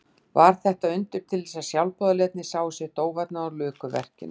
Varð þetta undur til þess að sjálfboðaliðarnir sáu sitt óvænna og luku verkinu.